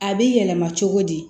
A bɛ yɛlɛma cogo di